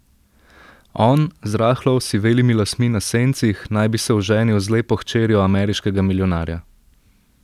On, z rahlo osivelimi lasmi na sencih, naj bi se oženil z lepo hčerjo ameriškega milijonarja.